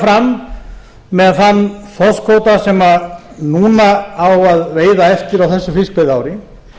fram með þann þorskkvóta sem núna á að veiða eftir á þessu fiskveiðiári